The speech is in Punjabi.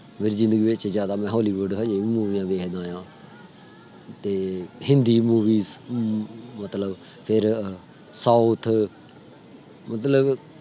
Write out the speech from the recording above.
ਮੇਰੀ ਜ਼ਿੰਦਗੀ ਵਿਚ ਜਿਆਦਾ ਮੈਂ hollywood ਹਲੇ ਵੀ ਮੂਵੀਆਂ ਦੇਖਦਾ ਆ। ਤੇ ਹਿੰਦੀ ਮੂਵੀ ਅਮ ਮਤਲਬ south ਮਤਲਬ